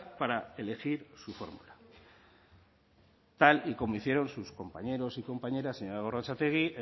para elegir su fórmula tal y como hicieron sus compañeros y compañeras señora gorrotxategi